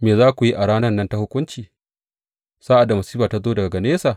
Me za ku yi a ranan nan ta hukunci, sa’ad da masifa ta zo daga nesa?